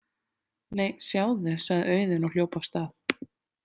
Nei, sjáðu, sagði Auðunn og hljóp af stað.